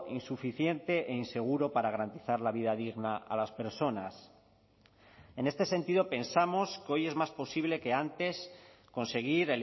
insuficiente e inseguro para garantizar la vida digna a las personas en este sentido pensamos que hoy es más posible que antes conseguir